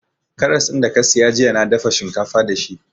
Karras da ka siya jiya na dafa shinkafa da shi